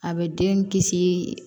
A bɛ den kisi